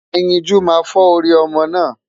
Ẹyinjú máa fọ́ orí ọmọ náà.